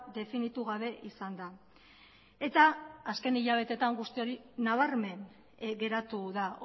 definitu gabe izanda eta azken hilabetetan guzti hori nabarmen geratu da